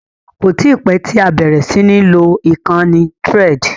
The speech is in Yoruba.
Kò tí pẹ́ tí a bẹ̀rẹ̀ sí ní lo ìkànnì Threads.